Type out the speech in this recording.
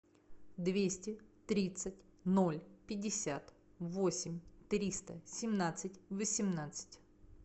двести тридцать ноль пятьдесят восемь триста семнадцать восемнадцать